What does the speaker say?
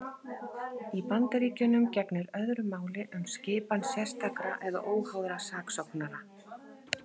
Í Bandaríkjunum gegnir öðru máli um skipan sérstakra eða óháðra saksóknara.